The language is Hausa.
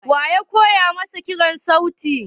Wa ya koya masa kiran sauti?